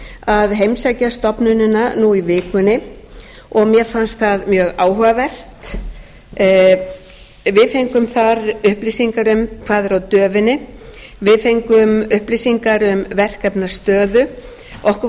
að heimsækja stofnunina nú í vikunni og mér fannst það mjög áhugavert við fengum þar upplýsingar um hvað er á döfinni við fengum upplýsingar um verkefnastöðu okkur